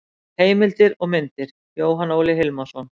Heimildir og myndir: Jóhann Óli Hilmarsson.